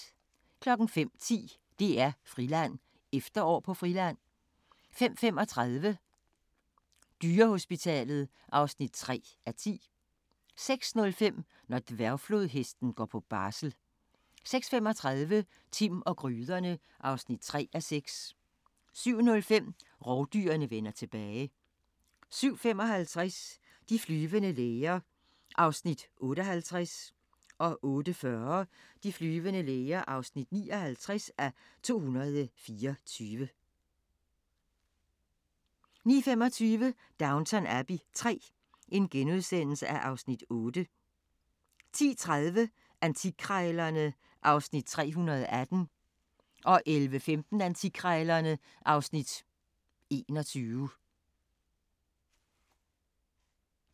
05:10: DR-Friland: Efterår på Friland 05:35: Dyrehospitalet (3:10) 06:05: Når dværgflodhesten går på barsel 06:35: Timm og gryderne (3:6) 07:05: Rovdyrene vender tilbage 07:55: De flyvende læger (58:224) 08:40: De flyvende læger (59:224) 09:25: Downton Abbey III (Afs. 8)* 10:30: Antikkrejlerne (Afs. 318) 11:15: Antikkrejlerne (Afs. 21)